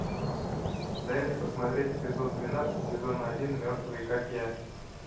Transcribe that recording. дай мне посмотреть эпизод двенадцать сезона один мертвые как я